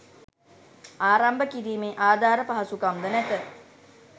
ආරම්භ කිරීමේ ආධාර පහසුකම් ද නැත.